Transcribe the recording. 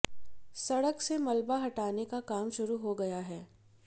सड़क से मलबा हटाने का काम शुरू हो गया है